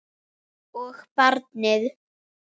Og barnið.